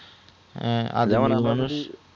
হ্যাঁ মানুষ